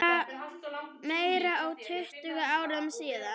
Meira en tuttugu árum síðar.